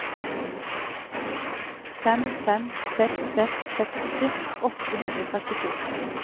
fem fem seks seks seksti åtte hundre og trettito